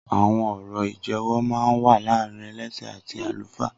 Awọn ọrọ ijẹwọ mà n wà làárín ẹlẹṣẹ àtí àlúfá